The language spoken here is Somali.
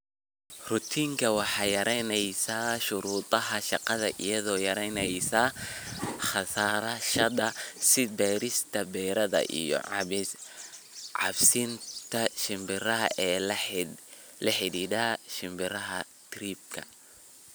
"Ratooning waxay yaraynaysaa shuruudaha shaqada iyadoo yaraynaysa kharashaadka sida beerista, beeridda iyo cabsiinta shimbiraha ee la xidhiidha shimbiraha tahriibka."